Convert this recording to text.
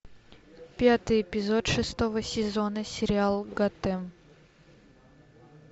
пятый эпизод шестого сезона сериал готэм